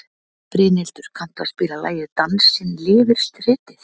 Brynhildur, kanntu að spila lagið „Dansinn lifir stritið“?